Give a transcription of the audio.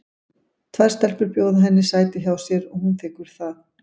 Tvær stelpur bjóða henni sæti hjá sér og hún þiggur það.